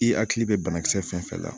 I hakili bɛ banakisɛ fɛn fɛn la